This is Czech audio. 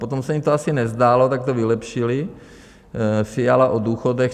Potom se jim to asi nezdálo, tak to vylepšili: "Fiala o důchodech.